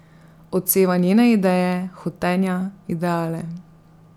Odseva njene ideje, hotenja, ideale.